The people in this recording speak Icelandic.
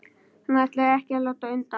Hann ætlar ekki að láta undan.